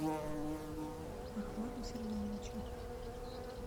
ахмаду сергеевичу